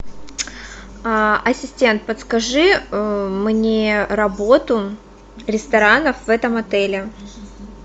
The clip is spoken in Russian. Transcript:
ассистент подскажи мне работу ресторанов в этом отеле